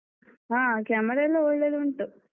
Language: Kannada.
ಹ camera ಎಲ್ಲಾ ಒಳ್ಳೆದುಂಟು.